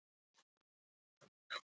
Bestla, spilaðu tónlist.